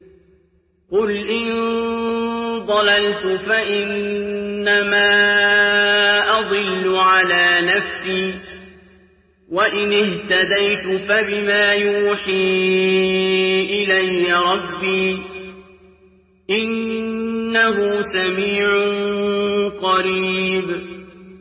قُلْ إِن ضَلَلْتُ فَإِنَّمَا أَضِلُّ عَلَىٰ نَفْسِي ۖ وَإِنِ اهْتَدَيْتُ فَبِمَا يُوحِي إِلَيَّ رَبِّي ۚ إِنَّهُ سَمِيعٌ قَرِيبٌ